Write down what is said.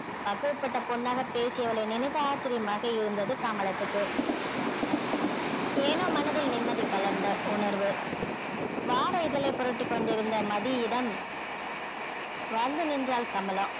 பக்குவப்பட்ட பெண்ணாக பேசியவளை நினைத்து ஆச்சரியமாக இருந்தது கமலத்துக்கு ஏனோ மனதில் நிம்மதி கலர்ந்த உணர்வு வார இதழை புரட்டிக் கொண்டிருந்த மதியிடம் வந்து நின்றாள் கமலம்